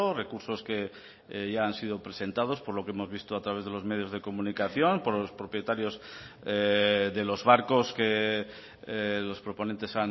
recursos que ya han sido presentados por lo que hemos visto a través de los medios de comunicación por los propietarios de los barcos que los proponentes